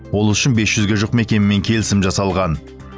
ол үшін бес жүзге жуық мекемемен келісім жасалған